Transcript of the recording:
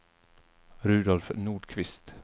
Rudolf Nordqvist